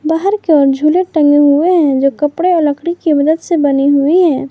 बाहर की ओर झूले टंगे हुए हैं जो कपड़े और लकड़ी के मदद से बने हुई हैं।